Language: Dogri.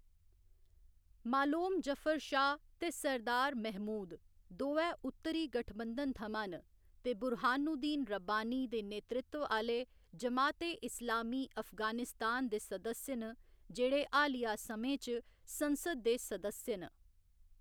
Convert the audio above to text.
मालोम जफर शाह ते सरदार महमूद दोऐ उत्तरी गठबंधन थमां न ते बुरहानुद्दीन रब्बानी दे नेतृत्व आह्‌‌‌ले जमात ए इस्लामी अफगानिस्तान दे सदस्य न जेह्‌‌ड़े हालिया समें च संसद दे सदस्य न।